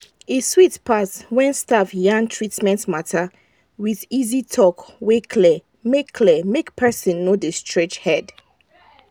e sweet pass when staff yarn treatment matter with easy talk wey clear make clear make person no dey scratch head.